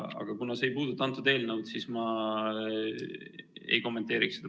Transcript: Aga kuna see ei puuduta kõnealust eelnõu, siis ma seda praegu ei kommenteeriks.